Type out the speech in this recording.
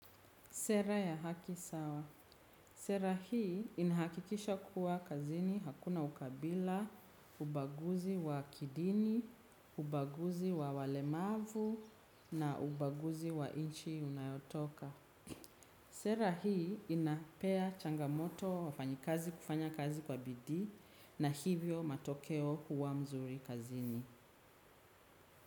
Sera ya haki sawa. Sera hii inahakikisha kuwa kazini hakuna ukabila, ubaguzi wa kidini, ubaguzi wa walemavu na ubaguzi wa nchi unayotoka. Sera hii inapea changamoto wafanyakazi kufanya kazi kwa bidii na hivyo matokeo huwa nzuri kazini.